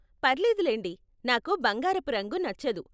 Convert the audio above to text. పర్లేదులెండి, నాకు బంగారపు రంగు నచ్చదు.